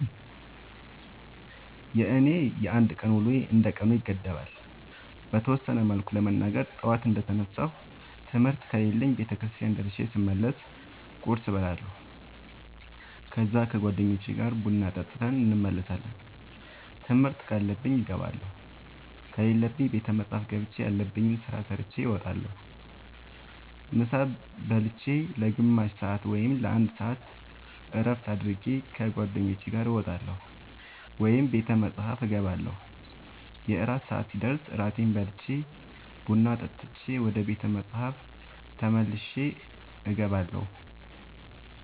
የኔ የአንድ ቀን ውሎዬ እንደ ቀኑ ይገደባል። በተወሰነ መልኩ ለመናገር ጠዋት እንደ ተነሳሁ ትምህርት ከሌለብኝ ቤተክርስቲያን ደርሼ ስመለስ ቁርስ እበላለሁ ከዛ ከ ጓደኞቼ ጋር ቡና ጠጥተን እንመለሳለን ትምህርት ካለብኝ እገባለሁ ከሌለብኝ ቤተ መፅሐፍ ገብቼ ያለብኝን ስራ ሰርቼ እወጣለሁ። ምሳ ብልቼ ለ ግማሽ ሰአት ወይም ለ አንድ ሰአት እረፍት አድርጌ ከ ጓደኞቼ ጋር እወጣለሁ ወይም ቤተ መፅሐፍ እገባለሁ። የእራት ሰአት ሲደርስ እራቴን በልቼ ቡና ጠጥቼ ወደ ቤተ መፅሐፍ ተመልሼ እገባለሁ።